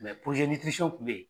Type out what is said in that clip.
Mɛ kun bɛ yen